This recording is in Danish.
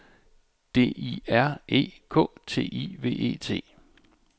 D I R E K T I V E T